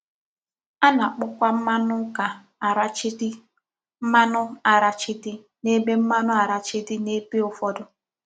A na-akpọkwa mmanụ ụ́ka arachide mmanụ arachide n’ebe mmanụ arachide n’ebe ụfọdụ